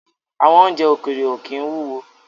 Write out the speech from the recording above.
Àwọn oúnjẹ ókéré ó kín wúwo